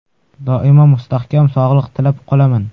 Doimo mustahkam sog‘liq tilab qolaman.